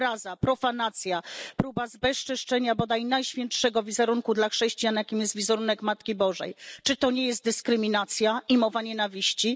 Obraza, profanacja, próba zbezczeszczenia bodaj najświętszego dla chrześcijan wizerunku, jakim jest wizerunek Matki Bożej. Czy to nie jest dyskryminacja i mowa nienawiści?